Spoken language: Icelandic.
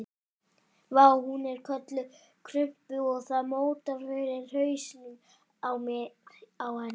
Vá, hún er öll krumpuð og það mótar fyrir hausnum á mér á henni.